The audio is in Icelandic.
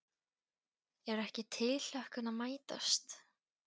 Er ekki tilhlökkun að mætast?